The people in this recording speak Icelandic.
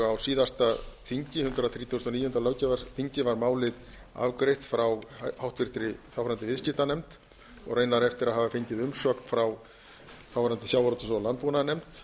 á síðasta þingi hundrað þrítugasta og níunda löggjafarþingi var málið afgreitt frá þáverandi háttvirtur viðskiptanefnd og raunar eftir að hafa fengið umsögn frá þáverandi sjávarútvegs og landbúnaðarnefnd